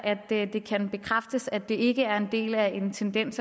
kan bekræftes at det ikke er en del af en tendens